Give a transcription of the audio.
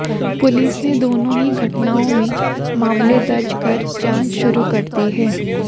police ने दोनों ही घटनाओं में मामले दर्ज कर जांच शुरू कर दी है